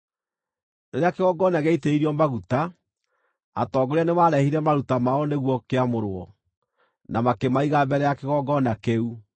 Rĩrĩa kĩgongona gĩaitĩrĩirio maguta, atongoria nĩmarehire maruta mao nĩguo kĩamũrwo, na makĩmaiga mbere ya kĩgongona kĩu.